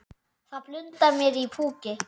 Það blundar í mér púki.